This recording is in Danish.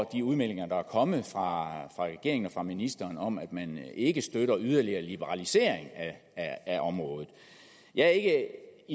de udmeldinger der er kommer fra regeringen og ministeren om at man ikke støtter en yderligere liberalisering af området jeg er ikke